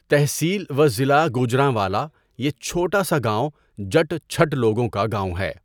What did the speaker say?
تحصیل و ضلع گوجرانوالہ يہ چهوٹا سا گاؤں جٹ چٹھہ لوگوں كا گاؤں ہے.